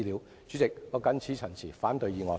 代理主席，我謹此陳辭，反對議案。